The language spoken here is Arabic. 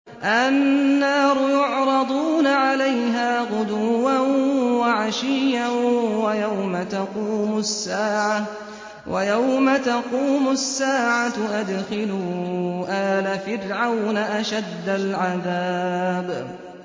النَّارُ يُعْرَضُونَ عَلَيْهَا غُدُوًّا وَعَشِيًّا ۖ وَيَوْمَ تَقُومُ السَّاعَةُ أَدْخِلُوا آلَ فِرْعَوْنَ أَشَدَّ الْعَذَابِ